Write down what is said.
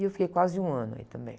E eu fiquei quase um ano aí também.